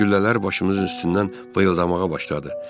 Güllələr başımızın üstündən vıyıltamağa başladı.